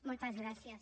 moltes gràcies